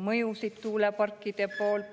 mõjusid.